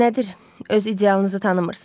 Nədir, öz idealınızı tanımırsınız?